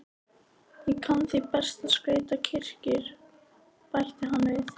Ég kann því best að skreyta kirkjur, bætti hann við.